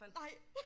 Nej